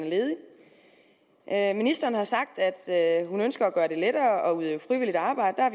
er ledig ministeren har sagt at hun ønsker at gøre det lettere at udføre frivilligt arbejde og